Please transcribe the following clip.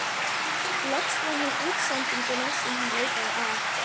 Loks fann hann útsendinguna sem hann leitaði að.